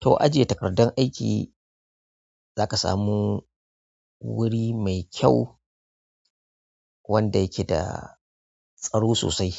To ajiye takardan aiki za ka samu wuri mai kyau wanda yake da tsaro sosai